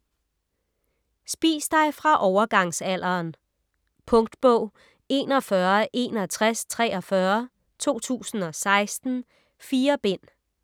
Spis dig fra overgangsalderen Punktbog 416143 2016. 4 bind.